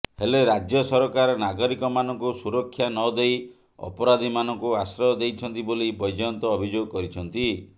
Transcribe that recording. ହେଲେ ରାଜ୍ୟ ସରକାର ନାଗରିକମାନଙ୍କୁ ସୁରକ୍ଷା ନ ଦେଇ ଅପରାଧୀମାନଙ୍କୁ ଆଶ୍ରୟ ଦେଇଛନ୍ତି ବୋଲି ବୈଜୟନ୍ତ ଅଭିଯୋଗ କରିଛନ୍ତି